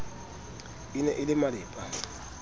e ne e le malepa